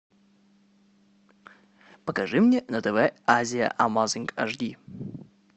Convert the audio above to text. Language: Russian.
покажи мне на тв азия амазинг аш ди